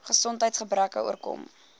gesondheids gebreke oorkom